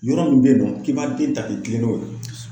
Yɔrɔ min bɛ yen nɔ k'i ba den ta k'i kilen n'o ye.